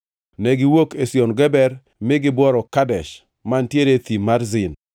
Negiwuok Ezion Geber mi gibworo Kadesh, mantiere e Thim mar Zin.